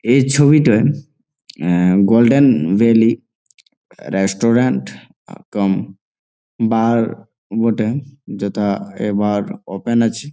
এই ছবিটায় আহ golden valley restaurant cum bar বটে যথা এ বার ওপেন আছে।